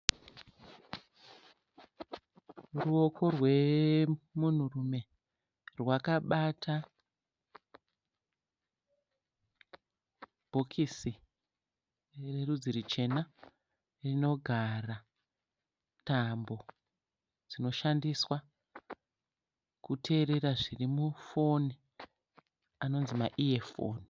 Ruoko rwemunhurume rwakabata bhokisi rerudzi ruchena rinogara tambo dzinoshandiswa kuteerera zviri mufoni anonzi ma iye foni.